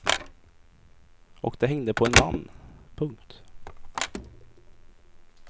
Och det hängde på en man. punkt